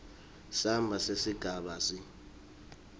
samba sesigaba c